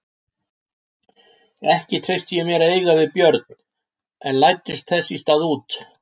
Ekki treysti ég mér að eiga við Björn en læddist þess í stað út.